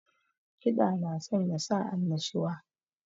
Kiɗa na sanya sa annashuwa